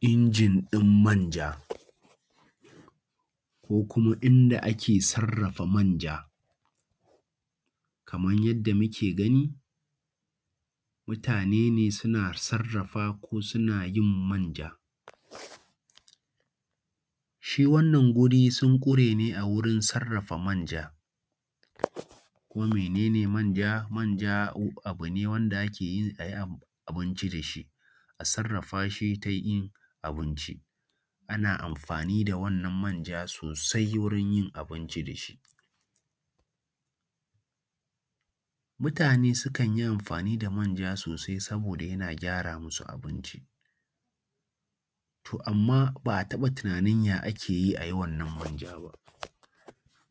Injin ɗin manja, ko kuma inda ake sarrafa manja. Kaman yadda muke gani, mutane ne suna sarrafa ko suna yin manja, shi wannan guri sun ƙure ne a wurin sarrafa manja. Kuma mene ne manja? Manja abu ne wanda ake yi a yi abinci da shi, a sarrafa shi ta yin abinci, ana amfani da wannan manja sosai wurin yin abinci da shi. Mutane sukan yi amfani da manja sosai saboda yana gyara musu abinci, to amma ba a taɓa tunanin ya ake yi a yi wannan manja ba.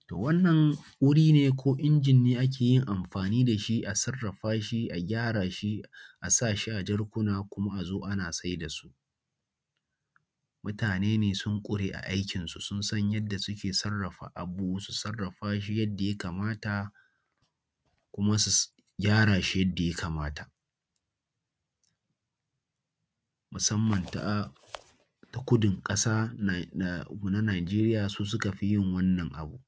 To wannan wuri ne ko inji ne da ake yin amfani da shi a sarrafa shi a gyara shi a sa shi a jarkuna kuma a zo ana saida su. Mutane ne sun ƙure a aikin su, sun san yadda suke sarrafa abu su sarrafa shi yadda ya kamata kuma su gyara shi yadda ya kamata, musamman ta ta kudun ƙasa na na Nijeriya su suka fi yin wannan abu,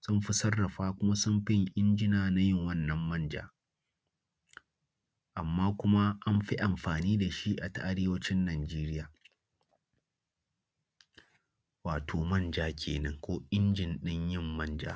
sun fi sarrafa kuma sun fi yin injina na yin wannan manja, amma kuma an fi amfani da shi a ta arewacin Nijeriya. Wato manja kenan, ko injin ɗin yin manja.